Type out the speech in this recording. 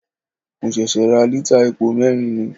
Mo ṣẹ̀ṣẹ̀ ra lítà epo mẹ́rin ni.